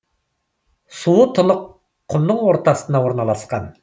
суы тұнық құмның ортасына орналасқан